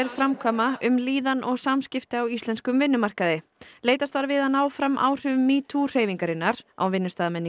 framkvæma um líðan og samskipti á íslenskum vinnumarkaði leitast var við að ná fram áhrifum metoo hreyfingarinnar á